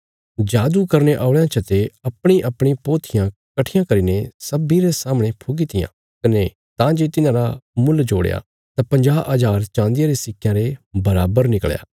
जादू करने औल़यां चते अपणीअपणी पोथियां कट्ठियां करीने सब्बीं रे सामणे फुकी तियां कने तां जे तिन्हांरा मुल जोड़या तां पंजाह हजार चाँदिये रे सिक्कयां रे बराबर निकल़या